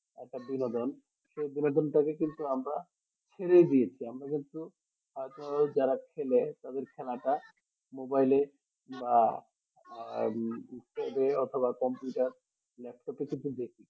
একটা বিনোদন সেই বিনোদন থেকে কিন্তু আমরা ছেড়েই দিয়েছি আমরা কিন্তু হয় তো যারা খেলে তাদের খেলাটা মোবাইলে বা আহ অথবা computer laptop এ কিন্তু দেখি